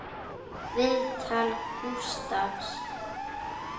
Viðtal Gústafs